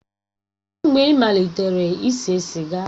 Kedụ mgbe ị malitere ise siga?